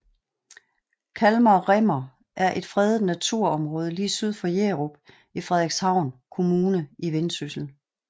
Kalmar Rimmer er et fredet naturområde lige syd for Jerup i Frederikshavn Kommune i Vendsyssel